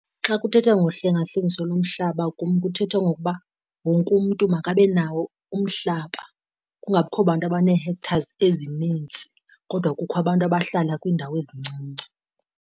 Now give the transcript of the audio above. Xa kuthethwa ngohlengahlengiso lomhlaba kum kuthethwa ngokuba wonke umntu makabenawo umhlaba, kungabikho bantu abanee-hectares ezinintsi kodwa kukho abantu abahlala kwiindawo ezincinci.